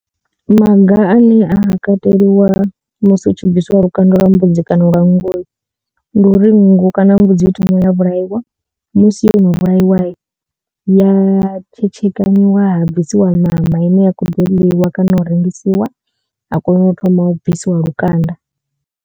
Maga ane a ha kateliwa musi hu tshi bvisiwa lukanda lwa mbudzi kana lwa nngu ndi uri nngu kana mbudzi i thoma ya vhulaiwa musi yono vhulaiwa ya tshetshekanyiwa ha bvisiwa ṋama ine ya kho ḓo ḽiwa kana u rengisiwa ha kona u thoma u bvisiwa lukanda.